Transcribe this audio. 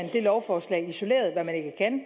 her lovforslag isoleret hvad man ikke kan